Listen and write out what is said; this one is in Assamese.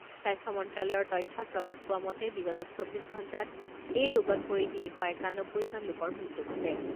স্বাস্থ্য মন্ত্ৰালয়ৰ তথ্যত প্ৰকাশ পোৱা মতে বিগত চৌব্বিছ ঘণ্টাত এই ৰোগত পৰি তিনি শ একানব্বৈজন লোকৰ মৃত্যু ঘটে।